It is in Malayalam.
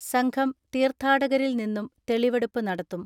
സംഘം തീർഥാടകരിൽ നിന്നും തെളിവെടുപ്പു നടത്തും.